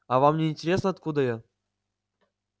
а вам не интересно откуда я